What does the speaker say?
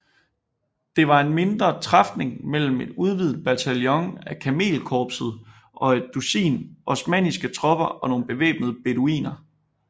Det var en mindre træfning mellem en udvidet bataljon af kamelkorpset og et dusin osmanniske tropper og nogle bevæbnede beduiner